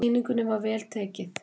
Sýningunni var vel tekið.